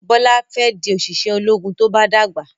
Bola fè di oṣiṣẹ ológun tó bá dàgbà